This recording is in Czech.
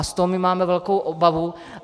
A z toho my máme velkou obavu.